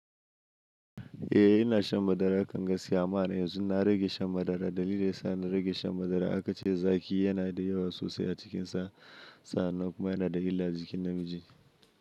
Eh, ina shan madara. Kanga siyamana yanzu na rage shan madara. Dalilin da ya sa na rage shan madara aka ce zaki yana da yawa sosai a cikinsa. Sa'an nan kuma yana da illa a jikin namiji.